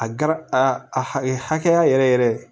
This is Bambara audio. A gar a a hakɛya yɛrɛ yɛrɛ